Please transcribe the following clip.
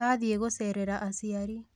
Athiĩ gũcerera aciari